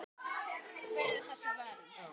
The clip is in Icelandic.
Hver er þessi vernd?